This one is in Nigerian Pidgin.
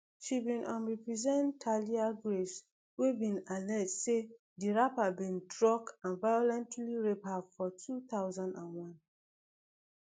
she bin um represent thalia graves wey bin allege say di rapper bin drug and violently rape her for two thousand and one